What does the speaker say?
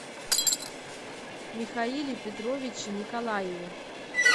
михаиле петровиче николаеве